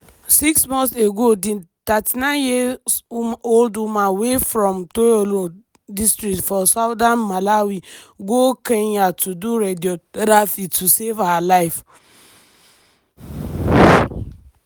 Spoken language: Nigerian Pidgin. six months ago di 39 years old woman wey from thyolo district for southern malawi go kenya to do radiotherapy to save her life.